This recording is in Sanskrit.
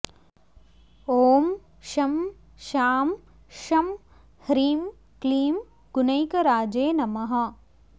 ॐ शं शां षं ह्रीं क्लीं गुणैकराजे नमः